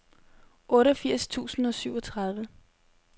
otteogfirs tusind og syvogtredive